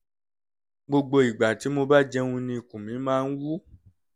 gbogbo ìgbà tí mo bá jẹun ni ikùn mi máa ń wú